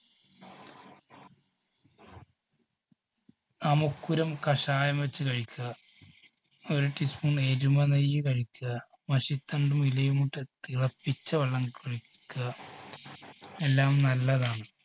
അമുക്കുരം കഷായം വെച്ച് കഴിക്കുക ഒരു teaspoon നെയ്യ് കഴിക്കുക മഷിത്തണ്ടും ഇലയും ഇട്ട് തിളപ്പിച്ച വെള്ളം കഴിക്കുക എല്ലാം നല്ലതാണ്.